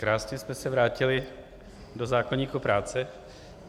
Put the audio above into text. Krásně jste se vrátili do zákoníku práce.